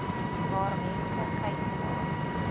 waar mense gyselaar